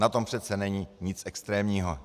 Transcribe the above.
Na tom přece není nic extrémního.